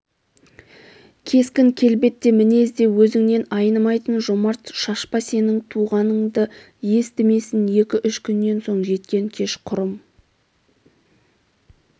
кескін-келбет де мінез де өзңнен айнымайтын жомарт шашпа сенің туғаныңды естісімен екі-үш күннен соң жеткен кешқұрым